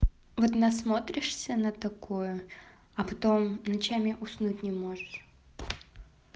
вот насмотришься на такое а потом ночами уснуть не можешь